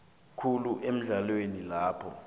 khulu eendaweni lapho